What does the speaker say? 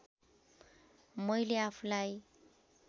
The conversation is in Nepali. मैले आफूलाई